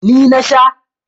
Ni na sha.